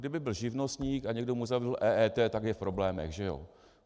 Kdyby byl živnostník a někdo mu zavedl EET, tak je v problémech, že jo.